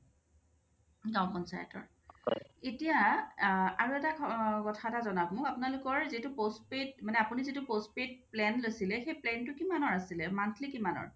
গাওঁ পঞ্চায়তৰ এতিয়া অ আৰু এটা কথা এটা জনাওক আপোনালোকৰ যিটো postpaid আপুনি যিটো postpaid plan লৈছিলে plan টো কিমানৰ আছিলে monthly কিমানৰ ?